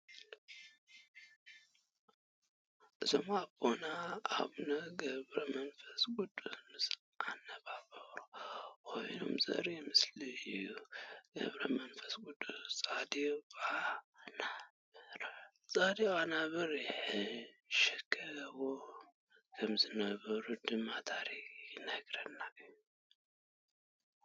እዚኦም ኣቦና ኣቡነ ገብረመንፈስ ቕዱስ ምስ ኣነብሮም ኾይኖም ዘርኢ ምስሊ እዩ፡ ገብረመንፈስቐዱስ ፃዲቕ ኣናብር ይሕሽከርዎ ከምዝነበሩ ድማ ታሪክ ይነግረና እዩ ።